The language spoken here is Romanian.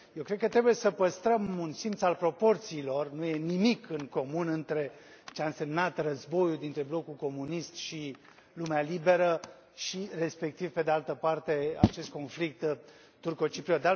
Eu cred că trebuie să păstrăm un simț al proporțiilor, nu e nimic în comun între ceea ce a însemnat războiul dintre blocul comunist și lumea liberă și, respectiv, pe de altă parte, acest conflict turco cipriot.